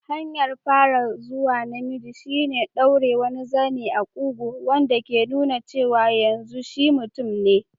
Hanyar farawa zuwa namiji shine ɗaure wani zane a kugu, wanda ke nuna cewa yanzu shi mutum ne.